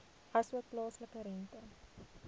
asook plaaslike rente